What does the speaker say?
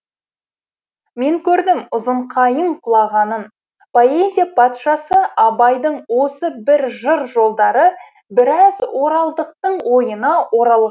мен көрдім ұзын қайың құлағанын поэзия патшасы абайдың осы бір жыр жолдары біраз оралдықтың ойына оралғаны